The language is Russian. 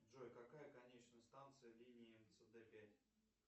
джой какая конечная станция линии мцд пять